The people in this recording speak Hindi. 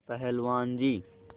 पहलवान जी